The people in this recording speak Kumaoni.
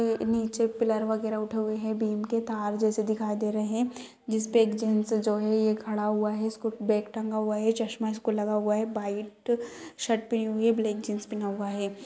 नीचे पिलर वगेरा उठे हुए हैं बीम के तार जैसे दिखाई दे रहे हैं जिसपे एक जेंट्स जो ये है खड़ा हुआ है इसको बेग टंगा हुआ है चश्मा इसको लगा हुआ है भाईट शर्ट पहनी हुई है ब्लैक जीन्स पहना हुआ है ।